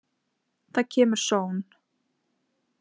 Það kemur sónn.